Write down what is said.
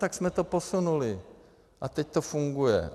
Tak jsme to posunuli a teď to funguje.